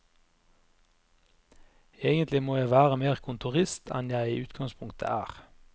Egentlig må jeg være mer kontorist enn jeg i utgangspunktet er.